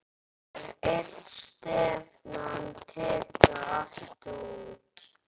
Er stefnan tekin aftur út?